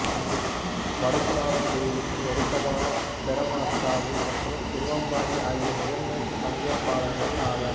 வடக்குநாதன் கோயிலுக்கு நெருக்கமான பெரமக்காவு மற்றும் திருவம்பாடி ஆகியவை முதன்மைப் பங்கேற்பாளர்கள் ஆவர்